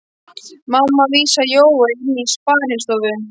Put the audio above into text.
Mamma vísaði Jóa inn í sparistofu.